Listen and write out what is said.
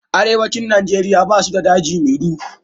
Arewacin Nigeria basu da daji mai duhu.